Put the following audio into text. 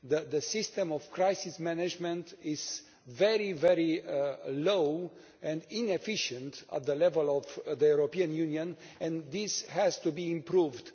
The system of crisis management is very poor and inefficient at the level of the European Union, and this has to be improved.